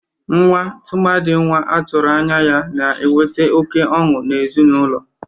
Nwa, tụmadị nwa atụrụ anya ya, na-ewete oke ọnụ n'ezinaụlọ.